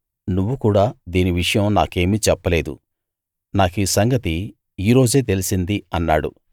నువ్వు కూడా దీని విషయం నాకేమీ చెప్పలేదు నాకీ సంగతి ఈ రోజే తెలిసింది అన్నాడు